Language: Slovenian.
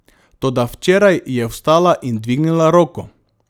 Toda včeraj je vstala in dvignila roko.